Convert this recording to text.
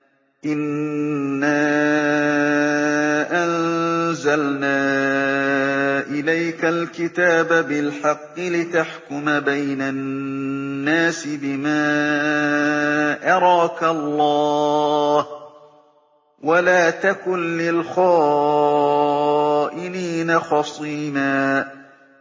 إِنَّا أَنزَلْنَا إِلَيْكَ الْكِتَابَ بِالْحَقِّ لِتَحْكُمَ بَيْنَ النَّاسِ بِمَا أَرَاكَ اللَّهُ ۚ وَلَا تَكُن لِّلْخَائِنِينَ خَصِيمًا